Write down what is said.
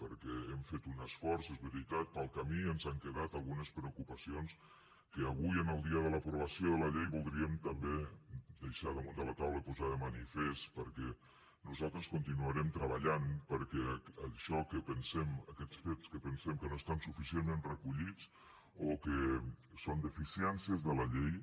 perquè hem fet un esforç és veritat pel camí ens han quedat algunes preocupacions que avui en el dia de l’aprovació de la llei voldríem també deixar damunt de la taula i posar de manifest perquè nosaltres continuarem treballant perquè això que pensem aquests fets que pensem que no estan suficientment recollits o que són deficiències de la llei